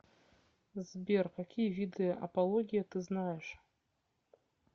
сбер какие виды апология ты знаешь